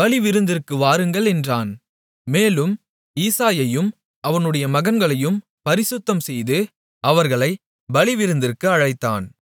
பலிவிருந்திற்கு வாருங்கள் என்றான் மேலும் ஈசாயையும் அவனுடைய மகன்களையும் பரிசுத்தம்செய்து அவர்களைப் பலிவிருந்திற்கு அழைத்தான்